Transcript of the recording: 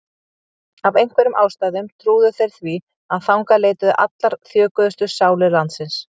Af einhverjum ástæðum trúðu þeir því að þangað leituðu allar þjökuðustu sálir landsins.